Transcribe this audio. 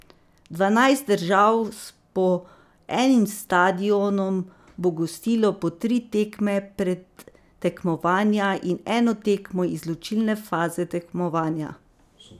Dvanajst držav s po enim stadionom bo gostilo po tri tekme predtekmovanja in eno tekmo izločilne faze tekmovanja.